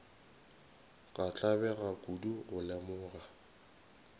ka tlabega kudu go lemoga